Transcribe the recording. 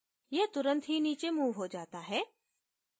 यह तुरंत ही नीचे moved हो जाता है